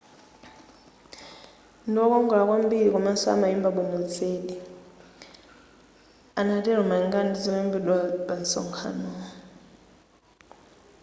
ndiwokongola kwambiri komanso amaimba bwino zedi anatelo malingana ndi zolembedwa pa nsonkhano wu